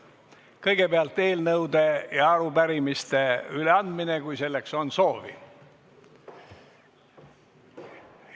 Kõigepealt on eelnõude ja arupärimiste üleandmine, kui selleks on soovi.